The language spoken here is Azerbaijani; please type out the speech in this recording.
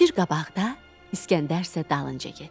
Şir qabaqda, İsgəndər isə dalınca getdi.